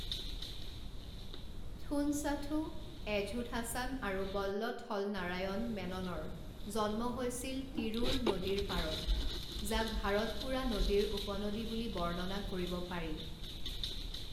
থুনচাথু এঝুথাচান আৰু বল্লথল নাৰায়ণ মেননৰ জন্ম হৈছিল তিৰুৰ নদীৰ পাৰত, যাক ভাৰতপুড়া নদীৰ উপনদী বুলি বৰ্ণনা কৰিব পাৰি।